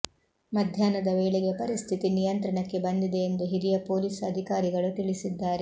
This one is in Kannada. ಮಧ್ಯಾಹ್ನದ ವೇಳೆಗೆ ಪರಿಸ್ಥಿತಿ ನಿಯಂತ್ರಣಕ್ಕೆ ಬಂದಿದೆ ಎಂದು ಹಿರಿಯ ಪೊಲೀಸ್ ಅಧಿಕಾರಿಗಳು ತಿಳಿಸಿದ್ದಾರೆ